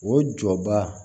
O jɔba